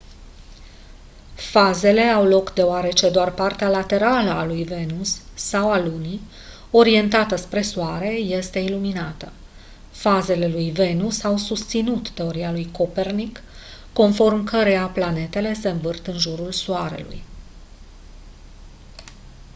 fazele au loc deoarece doar partea laterală a lui venus sau a lunii orientată spre soare este iluminată. fazele lui venus au susținut teoria lui copernic conform căreia planetele se învârt în jurul soarelui